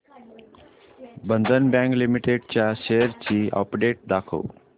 बंधन bank limited च्या shares ची update दाखव